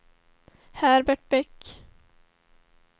Herbert Bäck